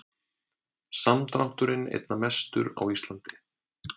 Samdrátturinn einna mestur á Íslandi